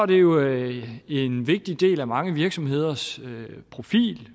det jo en vigtig del af mange virksomheders profil